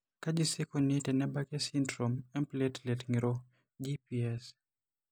Kaji sa eikoni tenebaki esindirom emplatelet ng'iro(GPS)?